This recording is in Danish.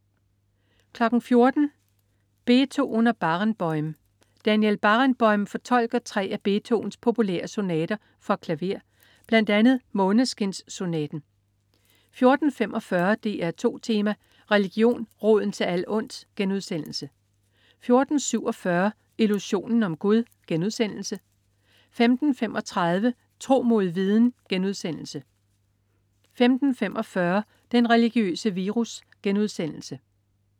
14.00 Beethoven og Barenboim. Daniel Barenboim fortolker tre af Beethovens populære sonater for klaver, bl.a. Måneskinssonaten 14.45 DR2 Tema: Religion, roden til alt ondt* 14.47 Illusionen om Gud* 15.35 Tro mod viden* 15.45 Den religiøse virus*